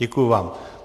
Děkuji vám.